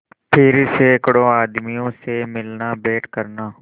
फिर सैकड़ों आदमियों से मिलनाभेंट करना